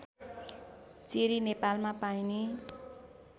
cherry नेपालमा पाइने